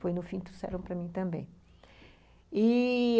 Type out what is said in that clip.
Foi no fim, trouxeram para mim também i